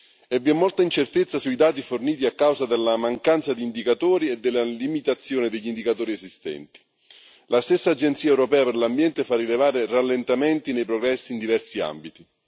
vi è inoltre molta incertezza sui dati forniti, a causa della mancanza di indicatori e della limitazione degli indicatori esistenti. La stessa Agenzia europea per l'ambiente fa rilevare rallentamenti nei progressi in diversi ambiti.